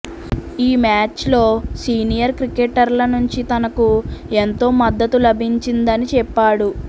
ఈ మ్యాచ్లో సీనియర్ క్రికెటర్ల నుంచి తనకు ఎంతో మద్దతు లభించిందని చెప్పాడు